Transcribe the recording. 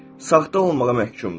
Saxta olmağa məhkumdur.